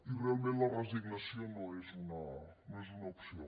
i realment la resignació no és una opció